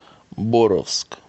боровск